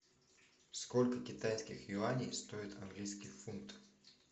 сколько китайских юаней стоит английский фунт